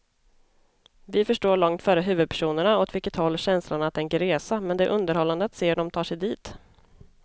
Vi förstår långt före huvudpersonerna åt vilket håll känslorna tänker resa, men det är underhållande att se hur de tar sig dit.